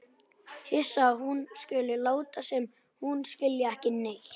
Hissa að hún skuli láta sem hún skilji ekki neitt.